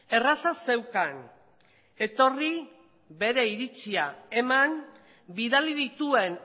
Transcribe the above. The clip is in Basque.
erraza zeukan etorri bere iritzia eman bidali dituen